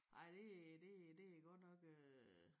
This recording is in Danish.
Nej det det det godt nok øh